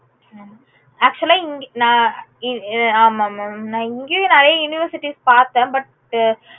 ஹம் actual ஆ இங்க ந இ ஆமா mam ந இங்கயும் நெறைய university பாத்தேன் but